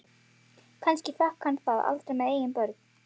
Kannski fékk hann það aldrei með eigin börn.